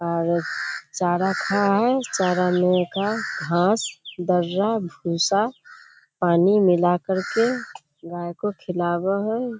और चारा खा हई। चारा में का घास दारा भूसा पानी मिला कर के गाय को खिलावा हई।